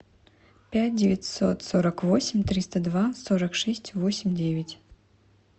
пять девятьсот сорок восемь триста два сорок шесть восемь девять